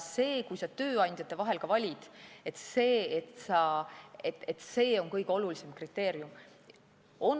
Kui sa tööandjate vahel valid, ei ole see kõige olulisem kriteerium.